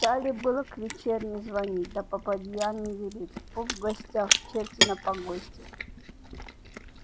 стали было к вечерне звонить да попадья не велит поп в гостях черти на погосте